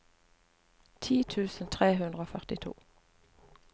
ti tusen tre hundre og førtito